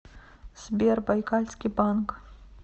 сбер байкальский банк